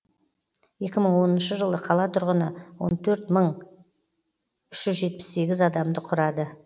жылы қала тұрғыны адамды құрады